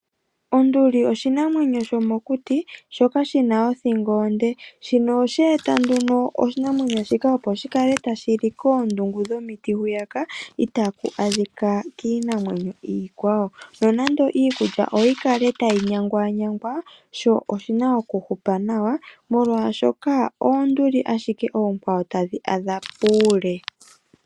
Onduli oshinamwenyo shomokuti shoka shina othingo onde. Shino oshe eta nduno oshinamwenyo shika opo shikale tashili koondungu dhomiti hu itaku adhika kiinamwenyo iikwawo nonando iikulya oyikale tayi nyanganyangwa sho oshina ookuhupa nawa oshoka oonduli ashike tadhi adha puule.